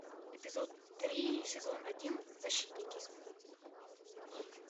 эпизод три сезон один защитники